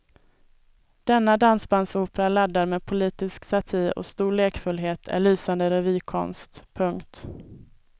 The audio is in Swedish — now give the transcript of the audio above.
Denna dansbandsopera laddad med politisk satir och stor lekfullhet är lysande revykonst. punkt